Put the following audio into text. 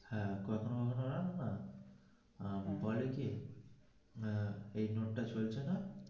হ্যা তখন উপায় কি আহ এই নোটটা চলছে না.